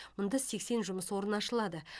мұнда сексен жұмыс орны ашылады